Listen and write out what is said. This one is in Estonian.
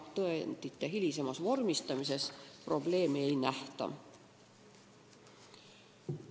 Tõendite hilisemas vormistamises probleemi ei nähta.